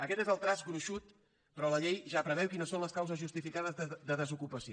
aquest és el traç gruixut però la llei ja preveu quines són les causes justificades de desocupació